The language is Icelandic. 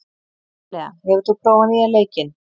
Elea, hefur þú prófað nýja leikinn?